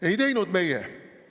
Ei teinud meie.